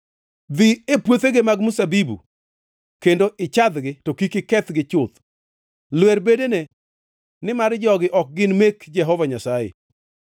Dhi e puothege mag mzabibu kendo ichadhgi, to kik ikethgi chuth. Lwer bedene, nimar jogi ok gin mek Jehova Nyasaye.